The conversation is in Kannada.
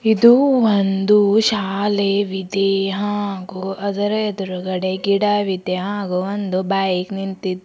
ಇದು ಒಂದು ಶಾಲೆವಿದೆ ಹಾಗು ಅದುರ ಎದುರುಗಡೆ ಗಿಡವಿದೆ ಹಾಗು ಒಂದು ಬೈಕ್ ನಿಂತಿ --